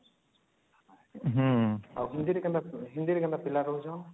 ହୁଁ ଆଉ hindi ରେ କେନ୍ତା ପିଲା ରହୁଛନ